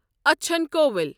اچھن کۄوِل